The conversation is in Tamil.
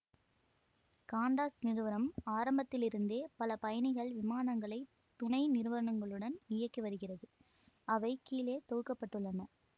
காண்டாஸ் நிறுவனம் ஆரம்பத்திலிருந்தே பல பயணிகள் விமானங்களை துணைநிறுவனங்களுடன் இயக்கிவருகிறது அவை கீழே தொகுக்க பட்டுள்ளன